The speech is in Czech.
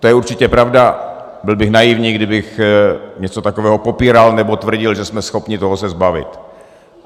To je určitě pravda, byl bych naivní, kdybych něco takového popíral nebo tvrdil, že jsme schopni se toho zbavit.